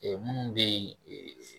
minnu bɛ yen